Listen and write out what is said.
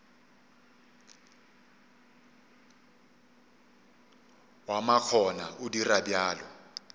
wa makgona o dira bjalo